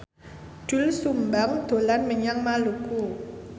Doel Sumbang dolan menyang Maluku